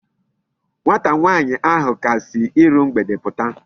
Nwata nwaanyi ahu ka si iru mgbede puta